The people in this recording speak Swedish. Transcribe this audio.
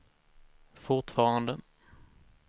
fortfarande